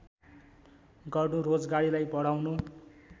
गर्नु रोजगारीलाई बढाउनु